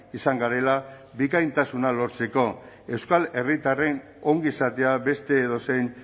izan garela bikaintasuna lortzeko euskal herritarren ongizatea beste edozein